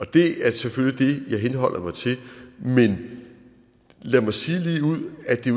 det er selvfølgelig det jeg henholder mig til men lad mig sige ligeud at det